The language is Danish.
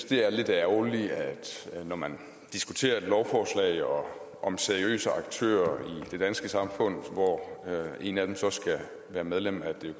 det er lidt ærgerligt når man diskuterer et lovforslag om om seriøse aktører i det danske samfund hvor en af dem så skal være medlem af det